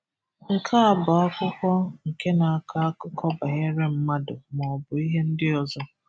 Nke a bụ akwụkwọ nke na-akọ akụkọ banyere mmadụ maọbụ ihe ndị ọzọ.